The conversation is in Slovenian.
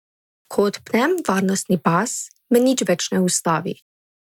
Ko odpnem varnostni pas, me nič več ne ustavi.